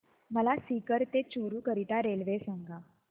मला सीकर ते चुरु करीता रेल्वे सांगा